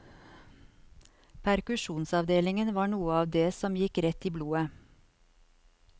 Perkusjonsavdelingen var noe av det som gikk rett i blodet.